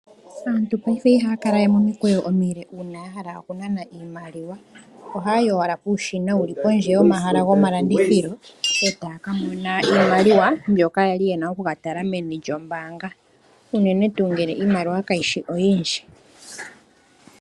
Aantu paife ihaya kala we momikweyo omile uuna ya hala okunana iimaliwa. Ohaya yi owala puushina wuli pondje yomahala gomalandithilo, e taa ka mona iimaliwa mbyoka yali yena okukatala meni lyombaanga, unene tuu ngele iimaliwa kayishi oyindji.